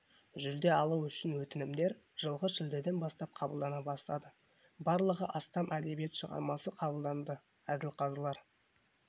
жүлде алу үшін өтінімдер жылғы шілдеден бастап қабылдана бастады барлығы астам әдебиет шығармасы қабылданды әділқазылар